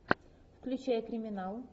включай криминал